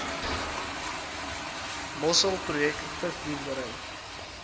mossel projek visboerdery